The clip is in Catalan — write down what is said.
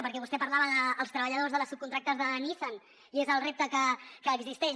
perquè vostè parlava dels treballadors de les subcontractades de nissan i és el repte que existeix